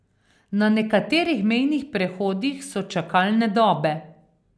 Na nekaterih mejnih prehodih so čakalne dobe.